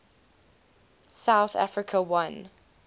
south africa won